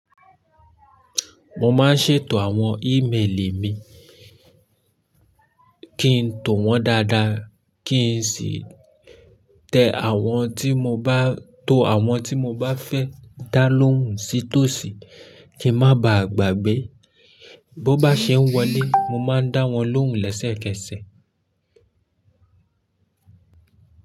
Mo máa ń ṣètò àwọn email mi kí n tò wọ́n dáadáa, kí n sì to àwọn tí mo bá fẹ́ dá lóhùn sí tòsí kí ń má ba à gbàgbé. Bo bá ṣe ń wọlé, mo máa ń dá wọ́n lóhùn lẹ́sẹ̀kẹsẹ̀.